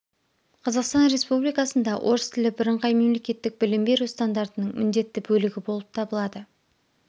қазақстан республикасында орыс тілі бірыңғай мемлекеттік білім беру стандартының міндетті бөлігі болып табылады